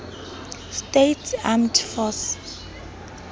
states armed forces